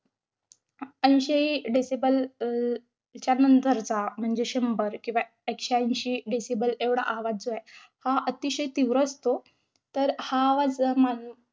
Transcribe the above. ऐंशी decibel च्या नंतरचा, म्हणजे शंभर किंवा एकशे ऐंशी decibel एवढा आवाज जो आहे, हा अतिशय तीव्र असतो. तर हा आवाज मान~